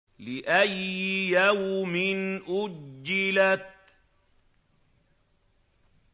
لِأَيِّ يَوْمٍ أُجِّلَتْ